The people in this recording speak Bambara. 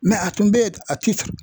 a tun bɛ ye a ti san.